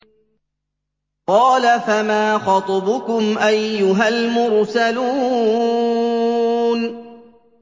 ۞ قَالَ فَمَا خَطْبُكُمْ أَيُّهَا الْمُرْسَلُونَ